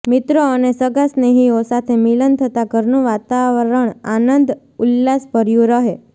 મિત્રો અને સગાં સ્નેહીઓ સાથે મિલન થતાં ઘરનું વાતાવરણ આનંદ ઉલ્લાસભર્યું રહે